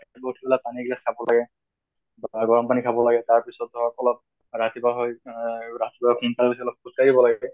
পানী এগিলাছ খাব লাগে বা গৰম পানী খাব লাগে। তাৰ পিছত ধৰকলপ ৰাতিপুৱা হৈ অহ ৰাতিপুৱা সোনকালে উঠি অলপ খোজ কাঢ়িব লাগে